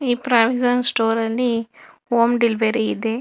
Provision store ಅಲ್ಲಿ home delivery ಇದೆ.